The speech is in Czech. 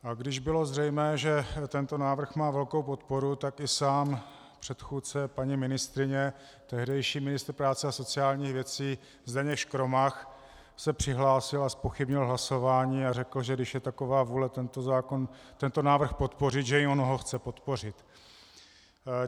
A když bylo zřejmé, že tento návrh má velkou podporu, tak i sám předchůdce paní ministryně, tehdejší ministr práce a sociálních věcí Zdeněk Škromach, se přihlásil a zpochybnil hlasování a řekl, že když je taková vůle tento návrh podpořit, že i on ho chce podpořit.